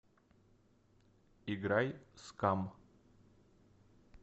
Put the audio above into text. играй скам